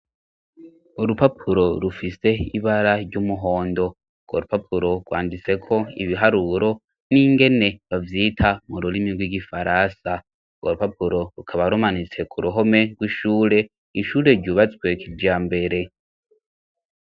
Urupapuro rufise ibara ry'umuhondo. Urwo rupapuro rwanditse ko ibiharuro n'ingene bavyita mu rurimi rw'igifaransa. Urwo rupapuro rukaba rumanitse ku ruhome rw'ishure, ishure ryubatswe kijambere.